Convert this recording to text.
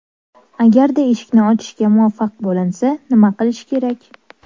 Agarda eshikni ochishga muvaffaq bo‘linsa, nima qilish kerak?